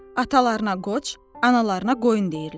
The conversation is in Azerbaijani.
Atalarına qoç, analarına qoyun deyirlər.